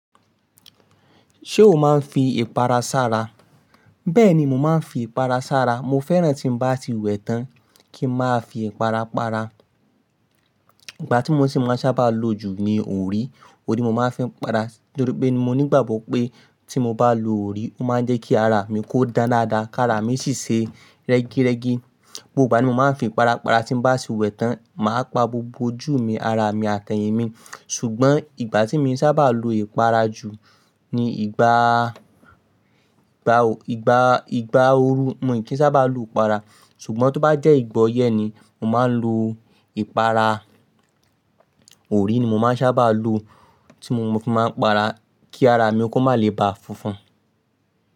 Ṣé o máa ń fi ìpara sára? Bẹ́ẹ̀ni, mo máa ń fi ìpara sára. Mo fẹ́ràn tí mo bá ti wẹ̀ tán kí ń máa fi ìpara para. Ìgbà tí mo ṣe máa sábà lo jù ni òrí, òrí ni mo máa ń fi ìpara. Nítorí pé mo nígbàgbọ́ pé tí mo bá lo òrí, ó máa ń jẹ́ kí ara mi kó dan dáadáa kí ara mi sì ṣe rẹ́gírẹ́gi. Gbogbo ìgbà ni mo máa ń fi ìpara para tí mo bá ti wẹ̀ tán, màá pa gbogbo ojú mi, ara mi àti ẹyìn mi. Ṣùgbọ́n ìgbà tí mi sábà lo ìpara jù ni ìgbà, ìgbà, ìgbà, ìgbà ooru mo kì í sábà lo ìpara. Ṣùgbọ́n tó bá jẹ́ ìgbà ọyẹ́ ni mo máa ń lo ìpara. Òrí ni mo máa ń sábà lo tí mo fi máa ń para kí ara mi kó má lè ba funfun.